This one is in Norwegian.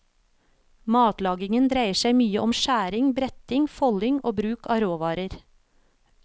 Matlagingen dreier seg mye om skjæring, bretting, folding og bruk av rå varer.